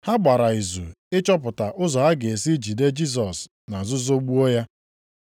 Ha gbara izu ịchọpụta ụzọ ha ga-esi jide Jisọs na nzuzo gbuo ya.